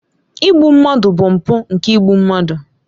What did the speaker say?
Igbu mmadụ bụ mpụ nke igbu mmadụ.